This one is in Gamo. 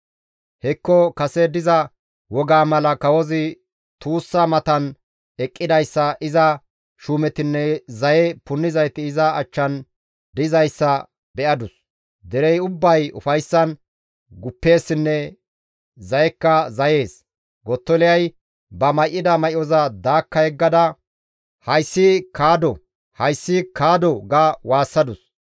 Hekko kase diza wogaa mala kawozi tuussa matan eqqidayssa iza shuumetinne zaye punnizayti iza achchan dizayssa be7adus; derey ubbay ufayssan guppeessinne zayekka zayees. Gottoliyay ba may7ida may7oza daakka yeggada, «Hayssi kaddo; hayssi kaddo!» ga waassadus.